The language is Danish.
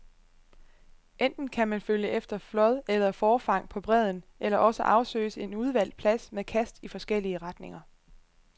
Enten kan man følge efter flåd eller forfang på bredden, eller også afsøges en udvalgt plads med kast i forskellige retninger.